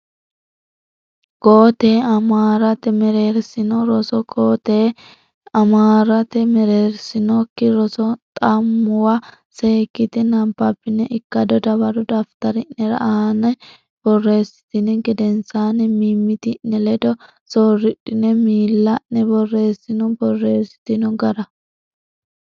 Koo tee amuraate mereersino roso Koo tee amuraate mereersinokki roso xa muwa seekkitine nabbabbine ikkado dawaro daftari ne aana borreessitini gedensaanni mimmiti ne ledo soorridhine miili a ne borreessino borreessitino gara.